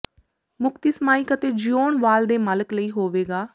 ਮੁਕਤੀ ਸਮਾਈਕ ਅਤੇ ਜਿਉਣ ਵਾਲ ਦੇ ਮਾਲਕ ਲਈ ਹੋਵੇਗਾ